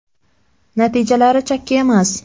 Natijalari chakki emas.